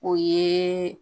O ye